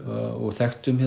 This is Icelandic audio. og þekktum